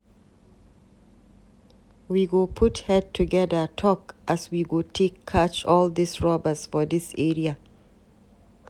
We go put head together talk as we go take catch all dis robbers for dis area.